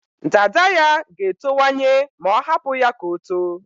Dada ya ga-etowanye ma ọ hapụ ya ka o too.